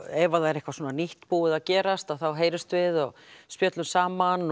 ef það er eitthvað nýtt búið að gerast þá heyrumst við og spjöllum saman